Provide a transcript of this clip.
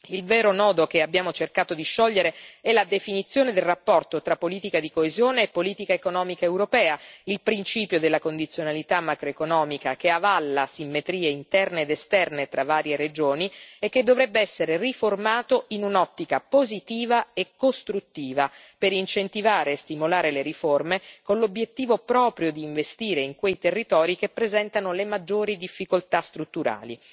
Il vero nodo che abbiamo cercato di sciogliere è la definizione del rapporto tra politica di coesione e politica economica europea, il principio della condizionalità macroeconomica che avalla simmetrie interne ed esterne tra varie regioni, e che dovrebbe essere riformato in un'ottica positiva e costruttiva per incentivare e stimolare le riforme, con l'obiettivo proprio di investire in quei territori che presentano le maggiori difficoltà strutturali.